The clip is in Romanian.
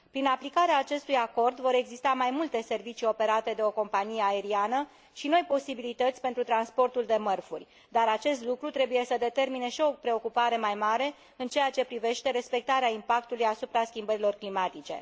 Prin aplicarea acestui acord vor exista mai multe servicii operate de o companie aeriană și noi posibilități pentru transportul de mărfuri, dar acest lucru trebuie să determine și o preocupare mai mare în ceea ce privește respectarea impactului asupra schimbărilor climatice.